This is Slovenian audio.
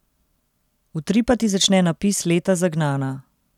Utripati začne napis Leta zagnana.